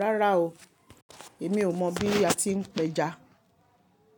Rárá o, èmi ò mọ̀ bí a ti ń péja.